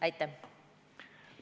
Aitäh!